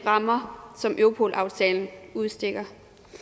rammer som europolaftalen udstikker